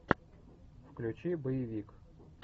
включи боевик